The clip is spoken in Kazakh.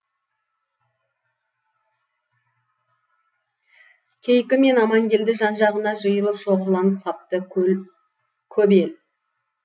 кейкі мен амангелді жан жағына жиылып шоғырланып қапты көп ел